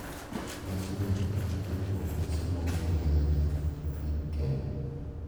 Nyasini en achiel kuom nyasi mongino ahinya e piny Kenya.